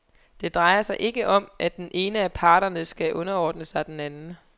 Det drejer sig ikke om, at den ene af parternes skal underordne sig den anden.